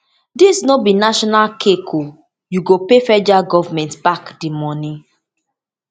dis no be national cake you go pay federal goment back di moni